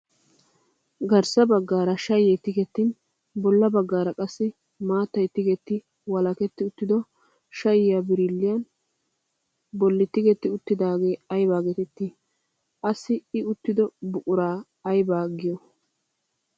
Garssa baggaara shayee tigettin bolla baggaara qassi maattay tigetti walaketti uttido shayiyaa birilliyaa bolli tigetti uttidaagee aybaa getettii? Wassi i uttido buquraa ayba giyoy?